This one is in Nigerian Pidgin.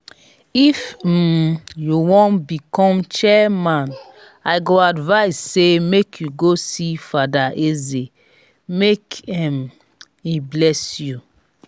if um you wan become chairman i go advise say make you go see father eze make um him bless you